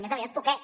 més aviat poquet